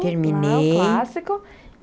Terminei. Clássico.